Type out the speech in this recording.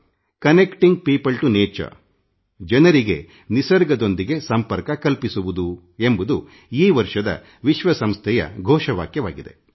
ವಿಶ್ವಸಂಸ್ಥೆಯ ಈ ವರ್ಷ ನಿಸರ್ಗದೊಂದಿಗೆ ಜನರ ಸಂಪರ್ಕಿಸುವುದು ಎಂಬ ಧ್ಯೇಯವಾಕ್ಯ ಘೋಷಿಸಿದೆ